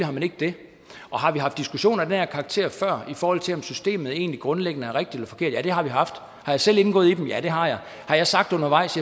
har man ikke det har vi haft diskussioner af den her karakter før i forhold til om systemet egentlig grundlæggende er rigtigt eller forkert ja det har vi haft har jeg selv indgået i dem ja det har jeg har jeg sagt undervejs